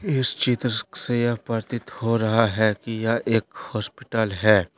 इस चित्र से यह प्रतीत हो रहा है कि यह एक हॉस्पिटल है।